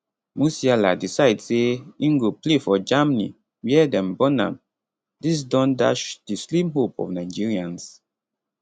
musiala decide say im go play for germany wia dem born am dis don dash di slim hope of nigerians